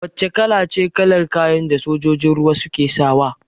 Wace kalace kalar kayan da sojojin ruwa suke sawa?